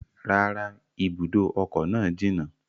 Rárá, ibùdó ọkọ̀ náà jìnà